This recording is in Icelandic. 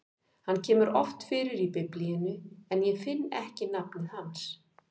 Hann kemur oft fyrir í Biblíunni, en ég finn ekki nafnið hans.